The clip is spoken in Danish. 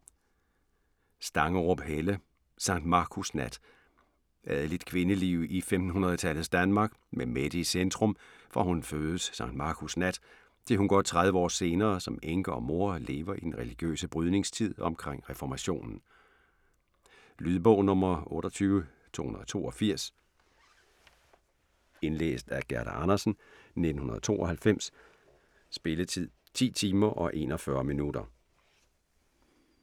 Stangerup, Helle: Sankt Markus Nat Adeligt kvindeliv i 1500-tallets Danmark, med Mette i centrum, fra hun fødes Sankt Markus nat, til hun godt tredive år senere som enke og mor lever i den religiøse brydningstid omkring reformationen. Lydbog 28232 Indlæst af Gerda Andersen, 1992. Spilletid: 10 timer, 41 minutter.